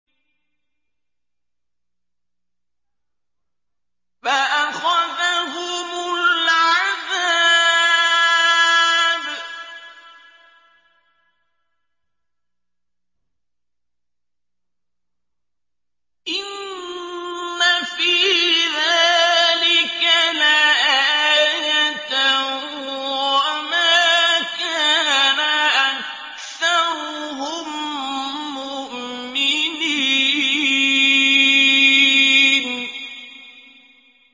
فَأَخَذَهُمُ الْعَذَابُ ۗ إِنَّ فِي ذَٰلِكَ لَآيَةً ۖ وَمَا كَانَ أَكْثَرُهُم مُّؤْمِنِينَ